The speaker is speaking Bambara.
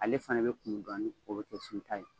Ale fana bɛ kumu dɔɔni, o bɛ kɛ sunta ye.